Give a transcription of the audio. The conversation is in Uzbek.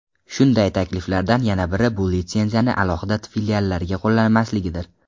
Shunday takliflardan yana biri bu litsenziyani alohida filiallarga qo‘llanmasligidir.